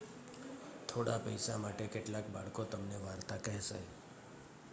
થોડા પૈસા માટે કેટલાક બાળકો તમને વાર્તા કહેશે